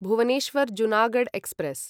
Bhubaneswar Junagadh express